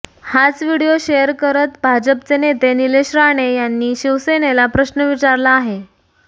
हाच video share करत भाजपचे नेते निलेश राणे यांनी शिवसेनेला प्रश्न विचारला आहे